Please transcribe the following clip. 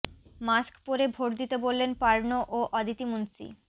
mask পরে vote দিতে বললেন পার্নো ও অদিতি মুন্সি